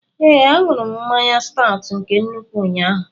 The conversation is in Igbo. Ee, aṅụrụ m mmanya Staut nke nnukwu ụnyaahụ